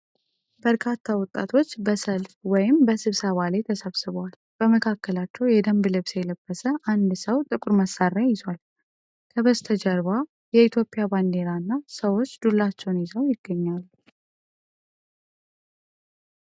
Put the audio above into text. በርካታ ወጣቶች በሰልፍ ወይም በስብሰባ ላይ ተሰብስበዋል። በመካከላቸው የደንብ ልብስ የለበሰ አንድ ሰው ጥቁር መሣሪያ ይዟል። ከበስተጀርባ የኢትዮጵያ ባንዲራ እና ሰዎች ዱላዎችን ይዘው ይገኛሉ።